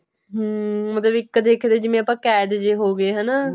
ਹਮ ਉਹਦੇ ਵੀ ਇੱਕ ਦੇਖਿਆ ਜਿਵੇਂ ਆਪਾਂ ਕੈਦ ਜੇ ਹੋ ਗਏ ਹਨਾ